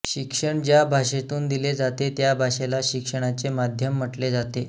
शिक्षण ज्या भाषेतून दिले जाते त्या भाषेला शिक्षणाचे माध्यम म्हटले जाते